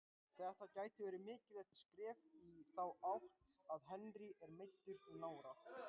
Þetta gæti verið mikilvægt skref í þá átt en Henry er meiddur í nára.